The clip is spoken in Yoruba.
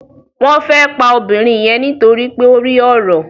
Wón fè pá obìrin yen nítorí pé o rí ọrọ.